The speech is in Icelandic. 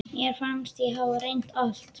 Mér fannst ég hafa reynt allt.